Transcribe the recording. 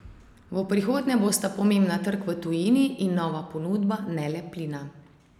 V prihodnje bosta pomembna trg v tujini in nova ponudba, ne le plina.